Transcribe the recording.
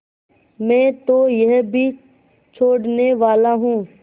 मैं तो यह भी छोड़नेवाला हूँ